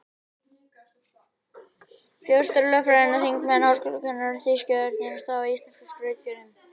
Forstjórar, lögfræðingar, þingmenn og háskólakennarar- þýski örninn varð að státa af íslenskum skrautfjöðrum.